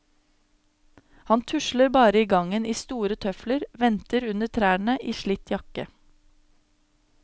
Han tusler bare i gangen i store tøfler, venter under trærne i slitt jakke.